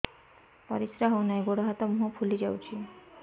ପରିସ୍ରା ହଉ ନାହିଁ ଗୋଡ଼ ହାତ ମୁହଁ ଫୁଲି ଯାଉଛି